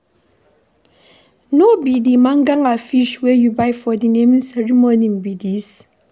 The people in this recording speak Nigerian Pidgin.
No be the mangala fish wey you buy for the naming ceremony be dis?